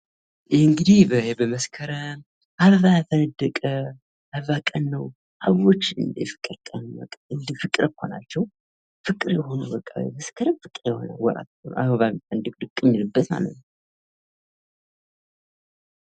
ይህ እንግዲህ በመስከረም አበባ ፈነደቀ የአበባ ቀን ነው። አበቦች የፍቅር ቀን ፤ ፍቅር እኮ ናቸው ፍቅር የሆኑ ፤መስከረም አበባ ፍኖድቅድቅ የሚልበትማት ነው።